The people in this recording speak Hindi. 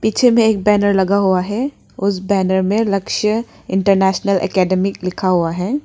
पीछे में एक बैनर लगा हुआ है उस बैनर में लक्ष्य इंटरनेशनल एकेडमी लिखा हुआ है।